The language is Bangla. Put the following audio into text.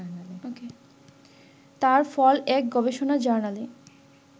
তার ফল এক গবেষণা জার্নালে